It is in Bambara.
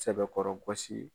Sɛbɛkɔrɔ gosi.